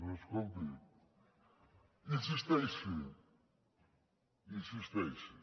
doncs escolti insisteixi insisteixi